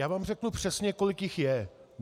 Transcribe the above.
Já vám řeknu přesně, kolik jich je.